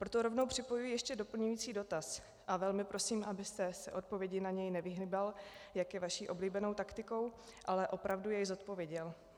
Proto rovnou připojuji ještě doplňující dotaz a velmi prosím, abyste se odpovědi na něj nevyhýbal, jak je vaší oblíbenou taktikou, ale opravdu jej zodpověděl.